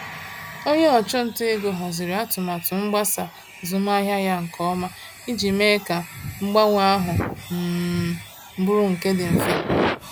Onye ọchụnta ego haziri atụmatụ mgbasa azụmahịa ya nke ọma iji mee ka mgbanwe ahụ um bụrụ nke dị mfe.